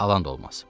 alan da olmaz.